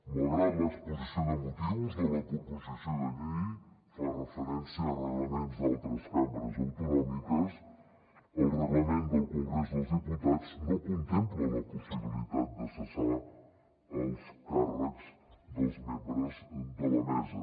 malgrat que l’exposició de motius de la proposició de llei fa referència a reglaments d’altres cambres autonòmiques el reglament del congrés dels diputats no contempla la possibilitat de cessar els càrrecs dels membres de la mesa